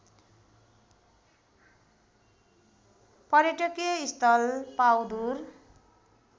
पर्यटकीय स्थल पाउँदुर